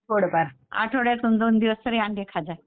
थोडंफार आठ्वड्यातनं दोन दिवस तरी अंडे खात जा.